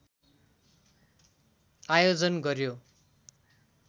आयोजन गर्‍यो